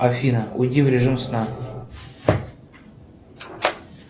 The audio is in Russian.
афина уйди в режим сна